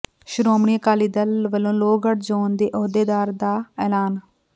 ਸ਼੍ਰੋਮਣੀ ਅਕਾਲੀ ਦਲ ਵਲੋਂ ਲੋਹਗੜ੍ਹ ਜ਼ੋਨ ਦੇ ਅਹੁਦੇਦਾਰਾਂ ਦਾ ਐਲਾਨ